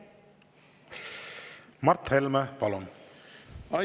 Mart Helme, palun!